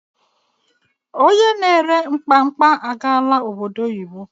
Onye na ere mmamkpa agaala obodo oyibo.